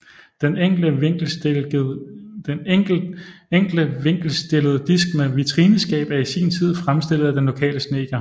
Den enkle vinkelstillede disk med vitrineskab er i sin tid fremstillet af den lokale snedker